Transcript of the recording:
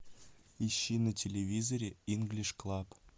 ищи на телевизоре инглиш клаб